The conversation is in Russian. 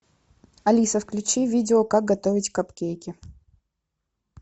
алиса включи видео как готовить капкейки